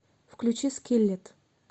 включи скиллет